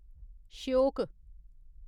Shyok